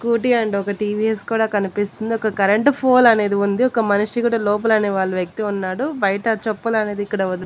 scooty and ఒక TVS కూడా కనిపిస్తుంది ఒక కరెంటు పోల్ అనేది ఉంది ఒక మనిషి కూడా లోపలనే వాళ్ళ వ్యక్తి ఉన్నాడు బయట చెప్పులు అనేది ఇక్కడ వదిలి --